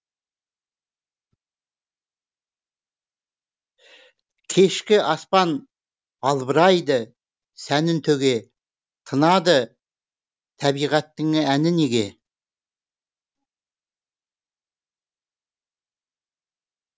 кешкі аспан албырайды сәнін төге тынады табиғаттың әні неге